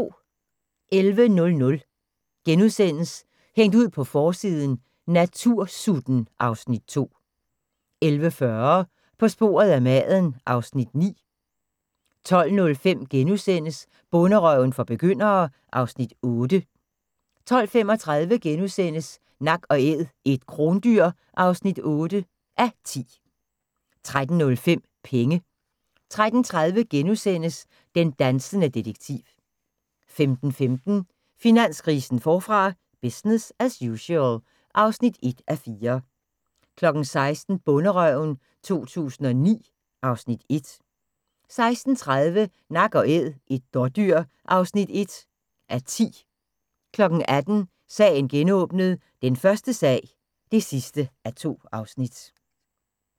11:00: Hængt ud på forsiden: Natursutten (Afs. 2)* 11:40: På sporet af maden (Afs. 9) 12:05: Bonderøven for begyndere (Afs. 8)* 12:35: Nak & æd - et krondyr (8:10)* 13:05: Penge 13:30: Den dansende detektiv * 15:15: Finanskrisen forfra - business as usual (1:4) 16:00: Bonderøven 2009 (Afs. 1) 16:30: Nak & æd – et dådyr (1:10) 18:00: Sagen genåbnet: Den første sag (2:2)